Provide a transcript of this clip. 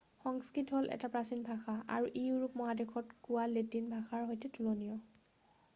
সংস্কৃত হ'ল এটা প্ৰাচীন ভাষা আৰু ই ইউৰোপ মহাদেশত কোৱা লেটিন ভাষাৰ সৈতে তুলনীয়